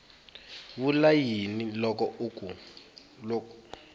vula yini loko a ku